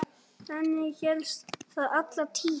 Þannig hélst það alla tíð.